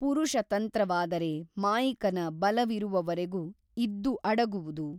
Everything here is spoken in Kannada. ಪುರುಷತಂತ್ರವಾದರೆ ಮಾಯಿಕನ ಬಲವಿರುವವರೆಗು ಇದ್ದು ಅಡಗುವುದು.